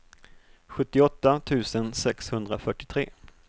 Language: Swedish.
sjuttioåtta tusen sexhundrafyrtiotre